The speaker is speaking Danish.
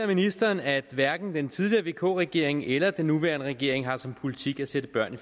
ministeren at hverken den tidligere vk regering eller den nuværende regering har som politik at sætte børn